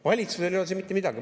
Valitsusel ei ole siin mitte midagi.